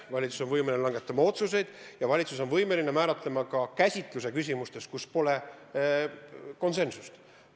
Valitsus on võimeline langetama otsuseid, ja valitsus on võimeline määratlema ka käsituse küsimustes, kus pole konsensust.